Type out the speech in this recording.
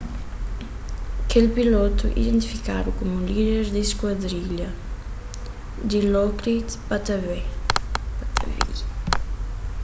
kel pilotu identifikadu komu líder di skuadrilha dilokrit pattavee